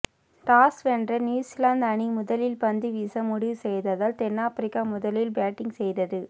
toss வென்ற New Zealand அணி முதலில் பந்துவீச முடிவு செய்ததால் தென்னாபிரிக்கா முதலில் பேட்டிங் செய்தது